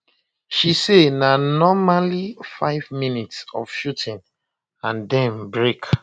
she say na normally five minutes of shooting and den brak